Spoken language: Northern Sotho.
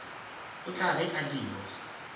o tla be a dirwa